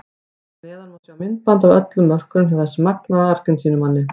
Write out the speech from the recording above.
Hér að neðan má sjá myndband af öllum mörkunum hjá þessum magnaða Argentínumanni.